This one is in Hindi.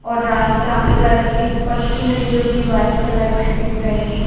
और रास्ता पर एक पट्टी है जो कि व्हाइट कलर की दिख रही है।